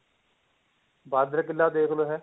ਬਾਂਦਰ ਕਿਲ੍ਹਾ ਦੇਖ ਲੋ ਹੈ